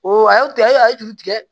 O a y'aw